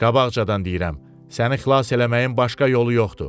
Qabaqcadan deyirəm, səni xilas eləməyin başqa yolu yoxdur.